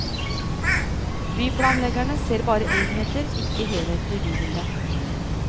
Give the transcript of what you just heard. Byplanleggerne ser bare enheter, ikke helheten i bybildet.